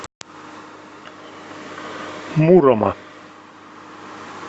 мурома